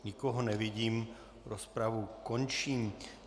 Nikoho nevidím, rozpravu končím.